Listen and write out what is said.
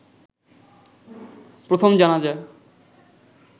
প্রথম জানাজা